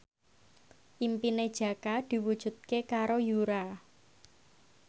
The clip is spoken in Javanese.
impine Jaka diwujudke karo Yura